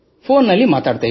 phone ನಲ್ಲಿ ಮಾತನಾಡುತ್ತಿದ್ದೆವು